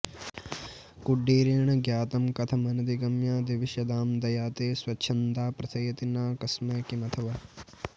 कुळीरेण ज्ञातं कथमनधिगम्यं दिविषदां दया ते स्वच्छन्दा प्रथयति न कस्मै किमथवा